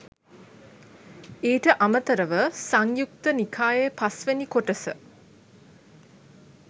ඊට අමතරව සංයුත්ත නිකායේ පස්වෙනි කොටස